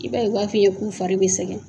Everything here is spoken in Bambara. I b'a ye u b'a f'i ye k'u fari bɛ sɛgɛn.